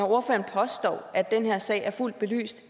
ordføreren påstår at den her sag er fuldt belyst